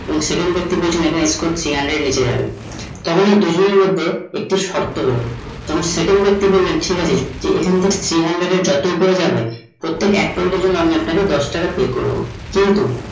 এবং second ব্যক্তি বলেছেন এখানে score three hundred এর নিচে যাবে। তখন কিছু জনের মধ্যে একটি শর্ত হল, second ব্যাক্তি বললো ঠিক আছে এখানে থেকে three hundred এর যত ওপরে যাবে প্রত্যেক এক point এর জন্য আমি আপনা কে দশ টাকা pay করবো